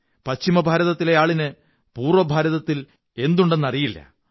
പശ്ചിമ ഭാരതത്തിലെ ആളിന് പൂര്വ്വര ഭാരതത്തിൽ എന്തുണ്ടെന്നറിയില്ല